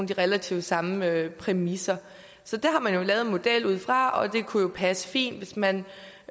relativt samme præmisser så det har man jo lavet en model ud fra og det kunne passe fint hvis man